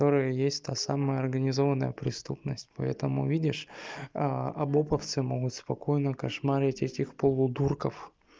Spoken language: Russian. которая есть та самая организованная преступность поэтому видишь а обэповцы могут спокойно кашмарить этих полудурков